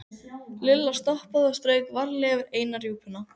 Lilla stoppaði og strauk varlega yfir eina rjúpuna.